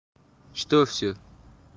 что всё